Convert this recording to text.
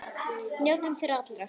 Njótum þeirra allra.